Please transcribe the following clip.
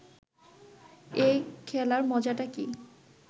এই খেলার মজাটা কি